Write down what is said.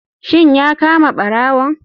Shin ya kama barawon?